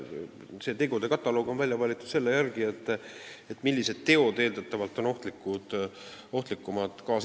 See tegude kataloog on välja valitud selle järgi, millised teod on eeldatavalt kaasinimestele ohtlikumad.